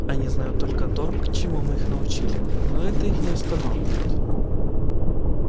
они знают только то чему мы их научили но это их не останавливает